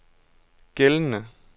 gældende